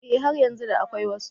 Eh har yanzu da akwai wasu.